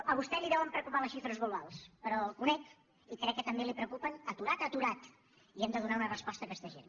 a vostè li deuen preocupar les xifres globals però el conec i crec que també li preocupen aturat a aturat i hem de donar una resposta a aquesta gent